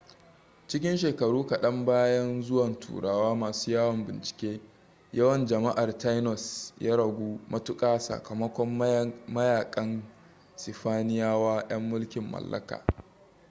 cikin shekaru kaɗan bayan zuwan turawa masu yawon bincike yawan jama'ar tainos ya ragu matuka sakamakon mayakan sifaniyawa yan mulkin mallakaa